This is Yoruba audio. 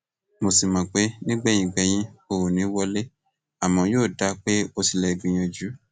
mo sì mọ pé nígbẹyìn gbẹyín o ò ní í wọlé àmọ yóò dáa pé o tilẹ gbìyànjú